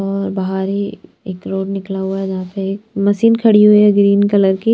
और बाहर ही एक रोड निकला हुआ है जहाँ पे एक मशीन खड़ी हुई है ग्रीन कलर की।